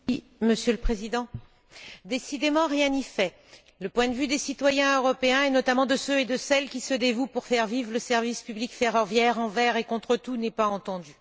Monsieur le Président, décidément rien n'y fait, le point de vue des citoyens européens et, notamment, de celles et ceux qui se dévouent pour faire vivre le service public ferroviaire envers et contre tout n'est pas entendu.